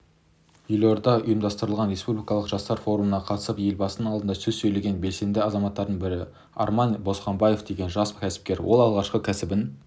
елордада ұйымдастырылған республикалық жастар форумына қатысып елбасының алдында сөз сөйлеген белсенді азаматтардың бірі арман досханбаев деген жас кәсіпкер ол алғашқы кәсібін